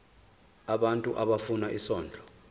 abantu abafuna isondlo